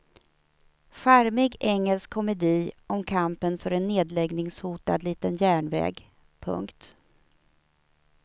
Charmig engelsk komedi om kampen för en nedläggningshotad liten järnväg. punkt